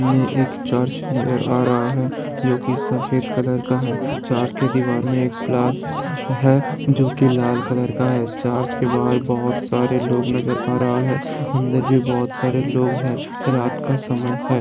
ये एक चर्च नजर आ रहा है जो की सफेद कलर का है | चर्च के दीवाल में एक प्लास है जोकि लाल कलर का है | चर्च के बाहर बहुत सारे लोग नजर आ रहा है | अंदर भी बहुत सारे लोग हैं | रात का समय है।